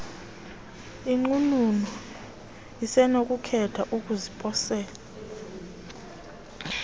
inqununu isenokukhetha ukuziposela